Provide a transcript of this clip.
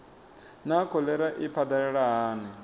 naa kholera i phadalala hani